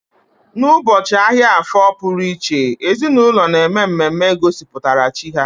N'ụbọchị ahịa afo pụrụ iche, ezinaụlọ na-eme mmemme gosipụtara chi ha